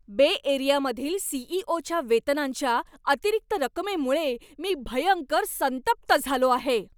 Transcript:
बे एरियामधील सी.ई.ओ.च्या वेतनांच्या अतिरिक्त रकमेमुळे मी भयंकर संतप्त झालो आहे.